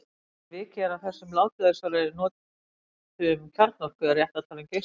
Áður en vikið er að þessum látlausari notum kjarnorku er rétt að tala um geislavirkni.